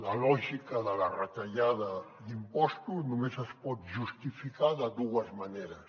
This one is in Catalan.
la lògica de la retallada d’impostos només es pot justificar de dues maneres